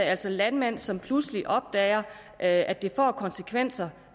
altså landmænd som pludselig opdager at det får konsekvenser